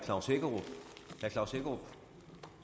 klaus hækkerup